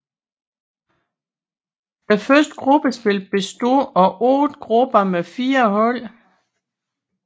Første gruppespil bestod af otte grupper med fire hold